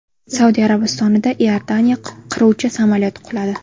Saudiya Arabistonida Iordaniya qiruvchi samolyoti quladi.